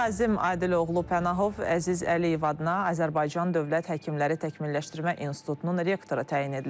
Nazim Adıloğlu Pənahov Əziz Əliyev adına Azərbaycan Dövlət Həkimləri Təkmilləşdirmə İnstitutunun rektoru təyin edilib.